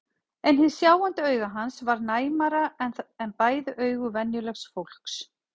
En hið sjáandi auga hans var næmara en bæði augu venjulegs fólks.